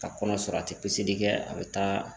Ka kɔnɔ sɔrɔ a tɛ piseli kɛ a bɛ taa